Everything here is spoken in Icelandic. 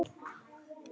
Hans missir er mikill.